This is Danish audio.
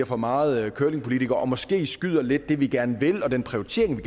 for meget curlingpolitikere og måske skyder vi lidt det vi gerne vil og den prioritering vi